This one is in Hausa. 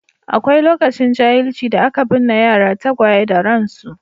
Akwai lokacin jahilci da aka binne yara tagwaye da ransu.